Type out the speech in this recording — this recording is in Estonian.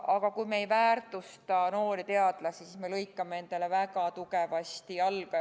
Aga kui me ei väärtusta noori teadlasi, siis me lõikame endale väga tugevasti jalga.